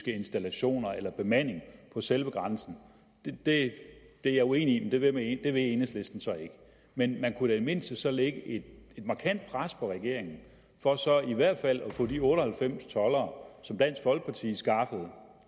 installationer eller bemanding på selve grænsen det er jeg uenig i men det vil enhedslisten så ikke men man kunne i mindste lægge et markant pres på regeringen for så i hvert fald at få de otte og halvfems toldere som dansk folkeparti skaffede